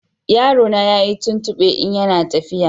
Yarona na yin tuntube in ya na tafiya